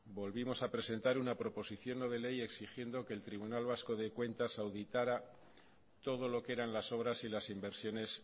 volvimos a presentar una proposición no de ley exigiendo que el tribunal vasco de cuentas auditara todo lo que eran las obras y las inversiones